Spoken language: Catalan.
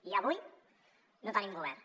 i avui no tenim govern